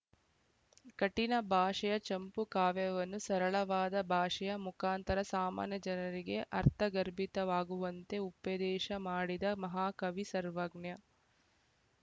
ಕಠಿಣ ಭಾಷೆಯ ಚಂಪೂಕಾವ್ಯವನ್ನು ಸರಳವಾದ ಭಾಷೆಯ ಮುಖಾಂತರ ಸಾಮಾನ್ಯ ಜನರಿಗೆ ಅರ್ಥಗರ್ಭಿತವಾಗುವಂತೆ ಉಪೆ ದೇಶ ಮಾಡಿದ ಮಹಾ ಕವಿ ಸರ್ವಜ್ಞ